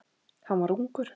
Hann var ungur.